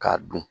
K'a dun